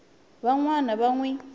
van wana va n wi